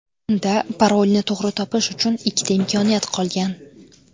Unda parolni to‘g‘ri topish uchun ikkita imkoniyat qolgan.